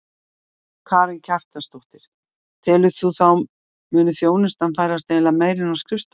Karen Kjartansdóttir: Telur þú að þá muni þjónustan færast eiginlega meira inn á skrifstofutíma?